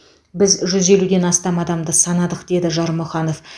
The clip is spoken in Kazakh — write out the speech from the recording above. біз жүз елуден астам адамды санадық деді жармұханов